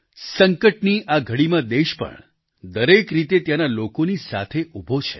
સંકટની આ ઘડીમાં દેશ પણ દરેક રીતે ત્યાંના લોકોની સાથે ઉભો છે